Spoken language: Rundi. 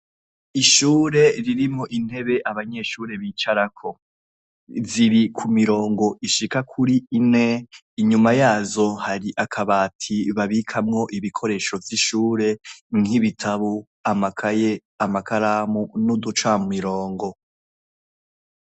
Ishure ririmwo intebe abanyeshure bicarako, ziri ku mirongo ishika kuri ine. Inyuma yazo hari akabati babikamwo ibikoresho vy'ishure nk'ibitabo, amakaye, amakaramu n'uduca mirongo.